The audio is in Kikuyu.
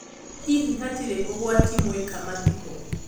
Hihi hatirĩ ũgwati mwika mathiko ?